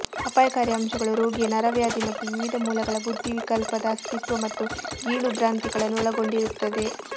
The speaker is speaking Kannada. ಅಪಾಯಕಾರಿ ಅಂಶಗಳು ರೋಗಿಯ ನರವ್ಯಾಧಿ ಮತ್ತು ವಿವಿಧ ಮೂಲಗಳ ಬುದ್ಧಿವಿಕಲ್ಪದ ಅಸ್ತಿತ್ವ ಮತ್ತು ಗೀಳು ಭ್ರಾಂತಿಗಳನ್ನು ಒಳಗೊಂಡಿರುತ್ತದೆ